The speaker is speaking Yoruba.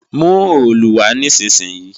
Mú òòlù wá nísinsìnyí!